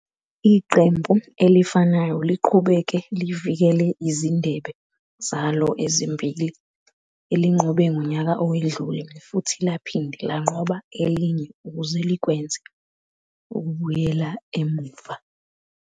Iqembu elifanayo liqhubeke livikela izindebe zalo ezimbili elinqobe ngonyaka owedlule futhi laphinde lanqoba elinye ukuze likwenze ukubuyela emuva emuva.